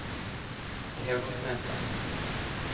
Theodor Smestad